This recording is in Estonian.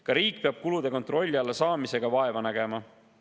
Ka riik peab kulude kontrolli alla saamiseks vaeva nägema.